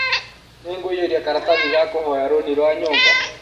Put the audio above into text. Nĩngũiyũria karatathi ga kũhoya rũni rwa nyũmba.